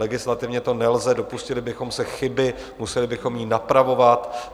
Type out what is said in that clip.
Legislativně to nelze, dopustili bychom se chyby, museli bychom ji napravovat.